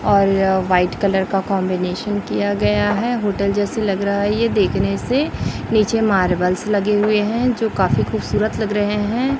और white colour का combination किया गया है होटल जैसे लग रहा है ये देखने से नीचे मार्बल लगे हुए हैं जो काफी खूबसूरत लग रहें हैं।